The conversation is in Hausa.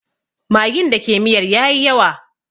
Magin da ke miyar ya yi yawa